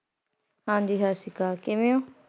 ਹਾਂਜੀ ਸਤਿ ਸ਼੍ਰੀ ਅਕਾਲ ਕਿਵੇਂ ਹੋ।